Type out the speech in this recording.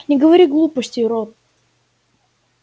не говори глупостей рон